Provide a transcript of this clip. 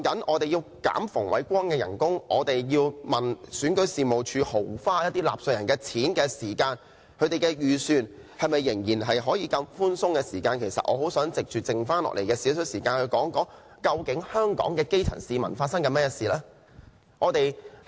我們討論削減馮煒光的薪金和追究選舉事務處豪花納稅人的錢時，仍然可以問他們的預算是否很寬鬆，其實我很想在餘下的少許時間說一說，究竟香港的基層市民正在面對甚麼事情？